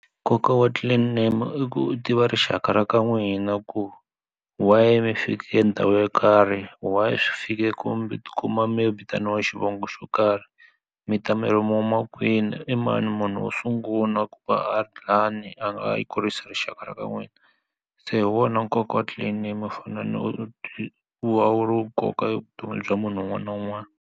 Nkoka wa clan name i ku tiva rixaka ra ka n'wina ku why mi fike ndhawu yo karhi why swi fike kumbe tikuma maybe vitaniwa xivongo xo karhi mi ta mi ri mo ma kwini i mani munhu wo sungula ku va a [? a yi kurisa rixaka ra ka n'wina se hi wona nkoka wa clan mi u fane u u nkoka evuton'wini bya munhu un'wana na un'wana.